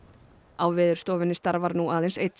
á Veðurstofunni starfar nú aðeins einn